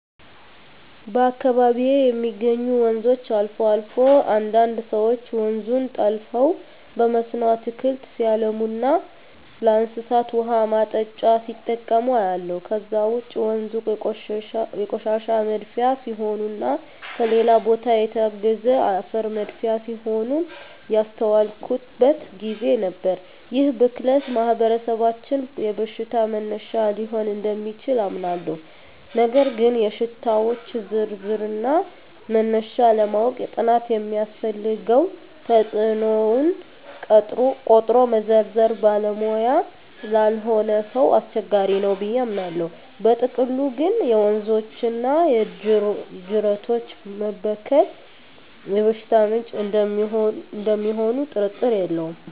በአካባቢየ የሚገኙ ወንዞች አልፎ አልፎ አንዳንድ ሰወች ወንዙን ጠልፈው በመስኖ አትክልት ሲያለሙና ለእንስሳት ውሃ ማጠጫ ሲጠቀሙ አያለሁ። ከዛ ውጭ ወንዞ የቆሻሻ መድፊያ ሲሆኑና ከሌላ ቦታ የተጋዘ አፈር መድፊያ ሲሆኑም ያስተዋልኩበት ግዜ ነበር። ይህ ብክለት በማህበረሰባችን የበሽታ መነሻ ሊሆን እደሚችል አምናለሁ ነገር ግን የሽታወች ዝርዝርና መነሻ ለማወቅ ጥናት ስለሚያስፈልገው ተጽኖውን ቆጥሮ መዘርዘር ባለሙያ ላልሆነ ሰው አስቸጋሪ ነው ብየ አምናለው። በጥቅሉ ግን የወንዞችና የጅረቶች መበከል የበሽታ ምንጭ እደሚሆኑ ጥርጥር የለውም።